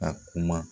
A kuma